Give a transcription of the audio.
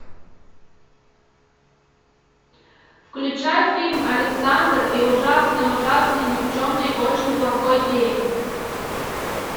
включай фильм александр и ужасный ужасный никчемный очень плохой день